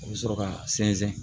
U bɛ sɔrɔ ka sɛnsɛn